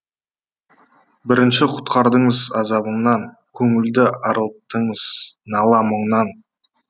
бірінші құтқардыңыз азабымнан көңілді арылттыңыз нала мұңнан